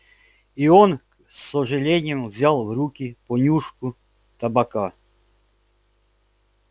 и он с сожалением взял в руки понюшку табака